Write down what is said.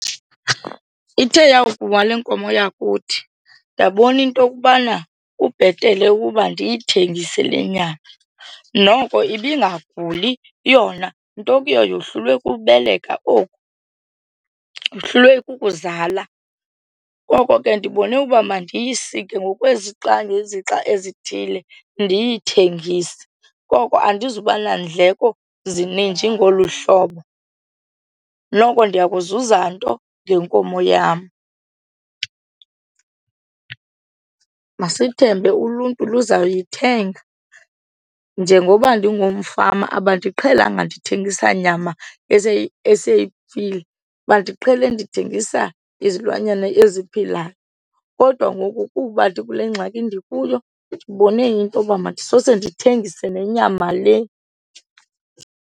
Ithe yakuwa le nkomo yakuthi ndabona into okubana kubhetele ukuba ndiyithengise le nyama, noko ibingaguli yona nto kuyo yohlulwe kubeleka oku yohlulwe kukuzala. Koko ke ndibone uba mandiyisike ngokwezixa ngezixa ezithile ndiyithengise koko andizuba nandleko zininji ngolu hlobo, noko ndiya kuzuza nto ngenkomo yam. Masithembe uluntu luzawuyithenga. Njengoba ndingumfama abandiqhelanga ndithengisa nyama eseyifile bandiqhele ndithengisa izilwanyana eziphilayo, kodwa ngoku kuba ndikule ngxaki ndikuyo ndibone intoba mandisose ndithengise nenyama le.